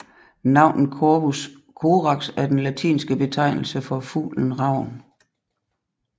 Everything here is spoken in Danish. Navnet Corvus Corax er den latinske betegnelse for fuglen ravn